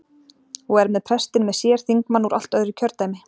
Og er með prestinn með sér- þingmann úr allt öðru kjördæmi!